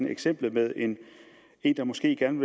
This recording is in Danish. eksemplet med en der måske gerne